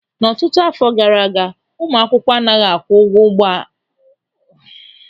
N'ọtụtụ áfọ̀ gaara aga, ụmụ akwụkwọ anaghị akwụ ụgwọ ịba n'ụgbọala ọhanaeze.